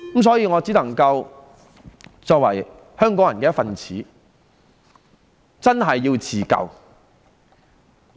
所以，作為香港人的一分子，我們真的要自救。